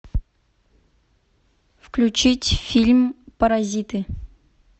включить фильм паразиты